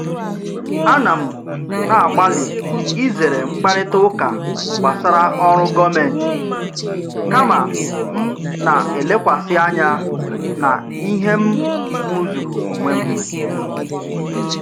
Ana m na-agbalị izere mkparịta ụka gbasara ọrụ gọọmentị, kama m na-elekwasị anya na ihe m rụzuru onwe m.